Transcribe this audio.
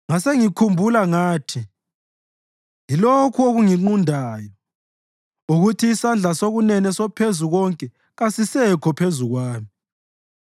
Ngasengikhumbula ngathi, “Yilokhu okunginqundayo, ukuthi isandla sokunene soPhezukonke kasisekho phezu kwami.